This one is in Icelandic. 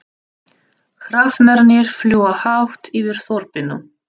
Hrafnarnir fljúga hátt yfir þorpinu.